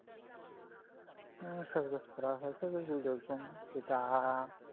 চাষ বাষ করা হয়